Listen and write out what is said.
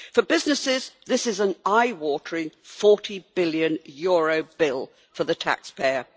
For businesses, this is an eye watering EUR 40 billion bill for the taxpayer.